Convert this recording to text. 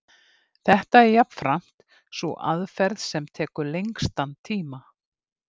Þetta er jafnframt sú aðferð sem tekur lengstan tíma.